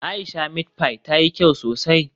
Aisha meat pie tayi kyau sosai.